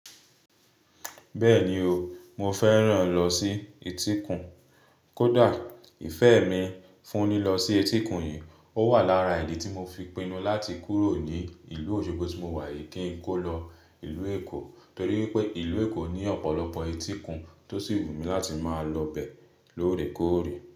Bẹ́ẹ̀ni o, mo fẹ́ràn lọ sí etíkun. Kódà ìfẹ́ mi fún lílọ sí etíkun yìí, ó wà lára ìdí tí mo fi pinnu láti kúrò ní ìlú Òṣogbo tí mo wà yìí kí n kó lọ ìlú Èkó. Torí pé ìlú Èkó ní ọ̀pọ̀lọpọ̀ etíkun tó ṣì wùmí láti máa lọ bẹ̀ lóòrèkóòrè.